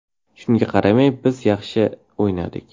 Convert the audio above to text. Shunga qaramay, biz yaxshi o‘ynadik.